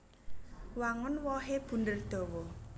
Wangun wohé bunder dawa